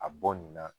A bɔ nin na